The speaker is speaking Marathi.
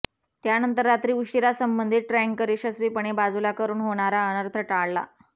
त्यानंतर रात्री उशिरा संबंधित टँकर यशस्वीपणे बाजूला करून होणारा अनर्थ टाळला